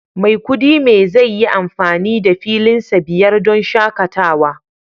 Maikudi me zai yi amfani da filinsa biyar don shakatawa